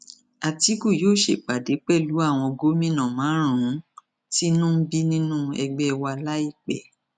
àtìkù yóò ṣèpàdé pẹlú àwọn gómìnà márùnún tínú ń bí nínú ẹgbẹ wa láìpẹ